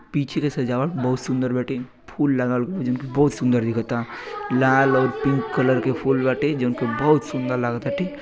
पीछे के सजावट बहुत सुन्दर बाटे। फूल लगावल बा जौन कि बहुत सुंदर दिखता। लाल और पिंक कलर के फूल बाटे जौन कि बहुत सुन्दर लगताटे।